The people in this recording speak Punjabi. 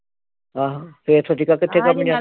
ਆਹ ਫਿਰ ਸੋਚੀ ਦਾ